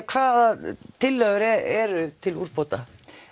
hvaða tillögur eru til úrbóta